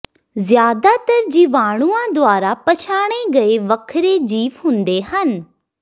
ਜ਼ਿਆਦਾਤਰ ਜੀਵਾਣੂਆਂ ਦੁਆਰਾ ਪਛਾਣੇ ਗਏ ਵੱਖਰੇ ਜੀਵ ਹੁੰਦੇ ਹਨ